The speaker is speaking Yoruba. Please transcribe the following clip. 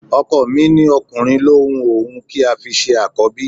Ọkọ mi ní ọkùnrin ló un òun kí a fi ṣe Àkọ́bí